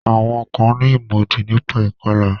Àwọn kan ní ìmọ̀-òdì nípa ìkọlà.